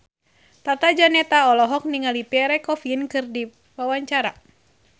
Tata Janeta olohok ningali Pierre Coffin keur diwawancara